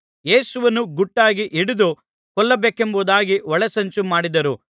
ಯೇಸುವನ್ನು ಗುಟ್ಟಾಗಿ ಹಿಡಿದು ಕೊಲ್ಲಬೇಕೆಂಬುದಾಗಿ ಒಳಸಂಚು ಮಾಡಿದರು